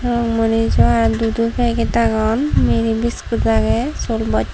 aa munijoaa dudo peget agon miri biskut agey sol bost.